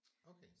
Okay